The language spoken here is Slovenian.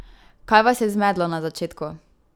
Kaj vas je zmedlo na začetku?